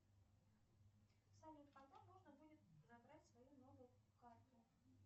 салют когда можно будет забрать свою новую карту